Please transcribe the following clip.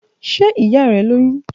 Ṣe iya rẹ loyun?